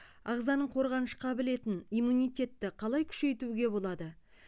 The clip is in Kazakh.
ағзаның қорғаныш қабілетін иммунитетті қалай күшейтуге болады